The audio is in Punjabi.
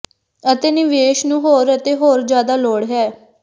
ਅਤੇ ਨਿਵੇਸ਼ ਨੂੰ ਹੋਰ ਅਤੇ ਹੋਰ ਜਿਆਦਾ ਲੋੜ ਹੈ